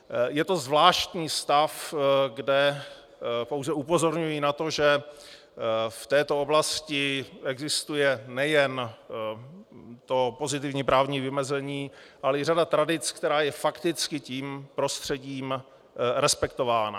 Je to zvláštní stav, kde pouze upozorňuji na to, že v této oblasti existuje nejen to pozitivní právní vymezení, ale i řada tradic, která je fakticky tím prostředím respektována.